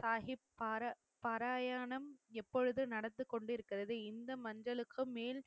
சாகிப் பாராய பாராயணம், எப்பொழுது நடந்து கொண்டிருக்கிறது? இந்த மஞ்சளுக்கு மேல்